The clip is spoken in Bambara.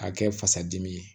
A kɛ fasa dimi ye